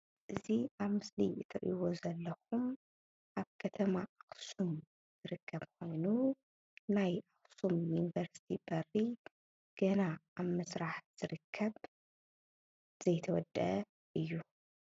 እቲ ኣብ ምስሊ እትሪኢዎ ዘለኩም ኣብ ከተማ ኣክሱም ዝርከብ ኮይኑ ናይ ኣፍቶም ዩኒቨርስቲ በሪ ገና ኣብ ምስራሕ ዝርከብ ዘይተወደአ እዩ፡፡